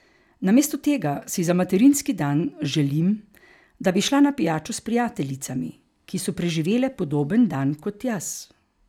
Namesto tega si za materinski dan želim, da bi šla na pijačo s prijateljicami, ki so preživele podoben dan kot jaz.